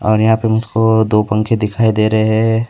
और यहां पे मुझ को दो पंखे दिखाई दे रहे है।